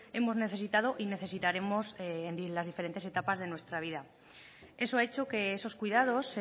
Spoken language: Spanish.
hemos necesitado y necesitaremos en las diferentes etapas de nuestra vida eso ha hecho que esos cuidados